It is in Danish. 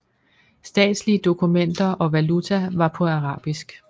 Statslige dokumenter og valuta var på arabisk